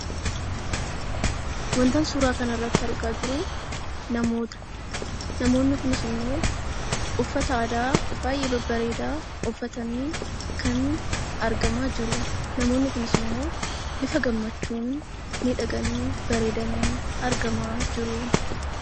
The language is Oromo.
Wantan suuraa kanarratti argaa jiru namoota. Namoonni kunis immoo uffata aadaa baay'ee babbareedaa uffatanii kan argamaa jiru. Namoonni kunis immoo bifa gammachuun miidhaganii bareedanii argamaa jiru.